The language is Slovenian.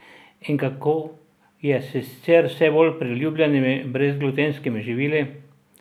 In kako je s sicer vse bolj priljubljenimi brezglutenskimi živili?